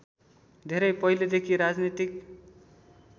धेरै पहिलेदेखि राजनीतिक